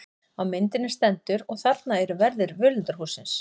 Á myndinni stendur: Og þarna eru verðir völundarhússins.